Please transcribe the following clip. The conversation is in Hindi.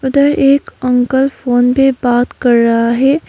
उधर एक अंकल फोन पे बात कर रहा है।